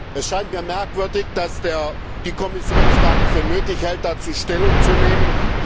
Es scheint mir merkwürdig, dass die Kommission es gar nicht für nötig hält, dazu Stellung zu nehmen.